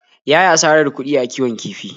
Ya yi asarar kuɗi a kiwon kifi.